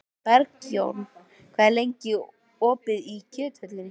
Bergjón, hvað er lengi opið í Kjöthöllinni?